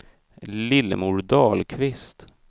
Lillemor Dahlqvist